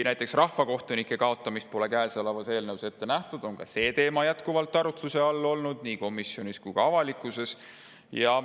Näiteks rahvakohtunike kaotamist pole käesolevas eelnõus ette nähtud, aga ka see teema on jätkuvalt arutluse all olnud nii komisjonis kui ka avalikkuses.